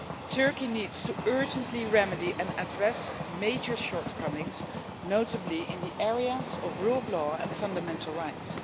Turkey needs to urgently remedy and address major shortcomings, notably in the areas of the rule of law and fundamental rights.